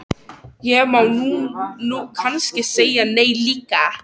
Já, ég veit alveg hvað þú ert að meina.